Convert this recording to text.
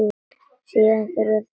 Síðan hurfu þeir á braut.